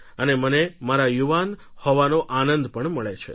અને મને મારા યુવાન હોવાનો આનંદ પણ મળે છે